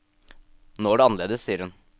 Nå er det annerledes, sier hun.